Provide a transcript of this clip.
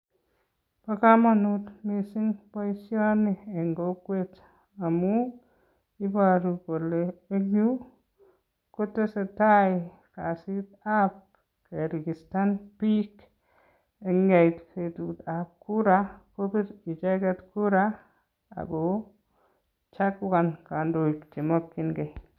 ba kamanut missing boisiani eng kokwet amu ibaru kole eng yu kotesetai kasitab geregistan bik si ndait betutab kura kochaguan kandoik chemakin gei